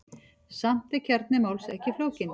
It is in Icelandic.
Samt er kjarni máls ekki flókinn.